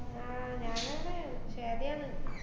ആഹ് ഞാനാണ് ഷേബയാണ്.